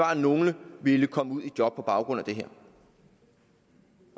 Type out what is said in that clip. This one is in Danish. at nogle vil komme ud i job på baggrund af det her